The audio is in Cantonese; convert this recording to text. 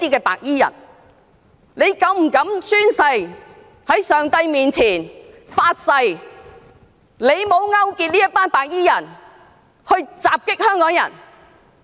何議員是否膽敢在上帝面前發誓，他沒有勾結這群白衣人襲擊香港人？